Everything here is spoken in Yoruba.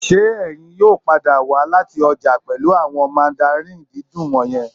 Ṣé ẹ̀yin yóò padà wá láti ọjà pẹ̀lú àwọn mandarins dídùn wọ̀nyẹn